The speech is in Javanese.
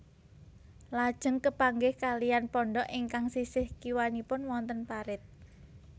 Lajeng kepanggih kaliyan pondhok ingkang sisih kiwanipun wonten parit